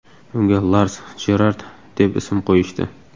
Unga Lars Jerard deb ism qo‘yishdi.